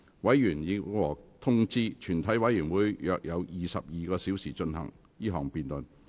委員已獲通知，全體委員會約有22小時進行這項辯論。